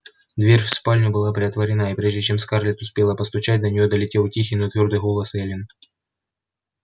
дверь в спальню была приотворена и прежде чем скарлетт успела постучать до неё долетел тихий но твёрдый голос эллин